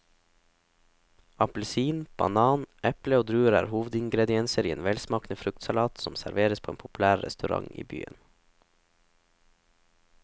Appelsin, banan, eple og druer er hovedingredienser i en velsmakende fruktsalat som serveres på en populær restaurant i byen.